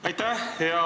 Aitäh!